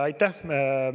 Aitäh!